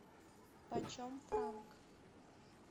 почем франк